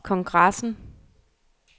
kongressen